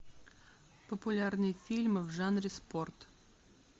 популярные фильмы в жанре спорт